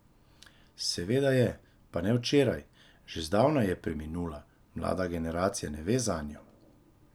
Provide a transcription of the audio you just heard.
Seveda je, pa ne včeraj, že zdavnaj je preminula, mlada generacija ne ve zanjo.